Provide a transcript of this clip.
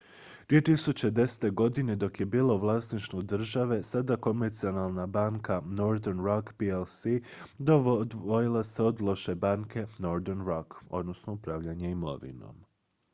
2010. godine dok je bila u vlasništvu države sada komercijalna banka northern rock plc odvojila se od loše banke” northern rock upravljanje imovinom